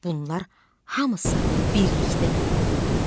Bunlar hamısı birlikdə Göygöldür.